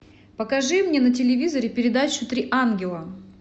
покажи мне на телевизоре передачу три ангела